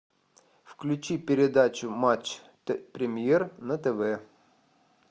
включи передачу матч премьер на тв